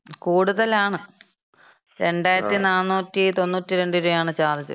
കൂടുതലാണ്. 2492 രൂപാണ് ചാർജ്.